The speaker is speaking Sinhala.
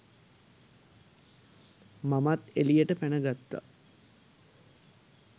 මමත් එළියට පැන ගත්තා.